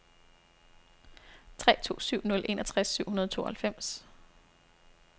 tre to syv nul enogtres syv hundrede og tooghalvfems